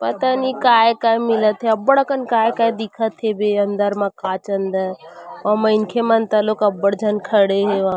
पता नहीं काय-काय मिलत हे अब्बड़ अकन काय-काय दिखत हेबे अंदर मा कांच अंदर आऊ मइनखे मन तलोक अब्बड़ झन खड़े हेवय--